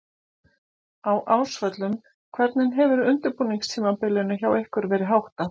Á Ásvöllum Hvernig hefur undirbúningstímabilinu hjá ykkur verið háttað?